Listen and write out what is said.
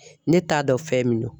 Ne t'a dɔn fɛn min do.